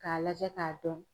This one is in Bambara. K'a lajɛ k'a dɔn.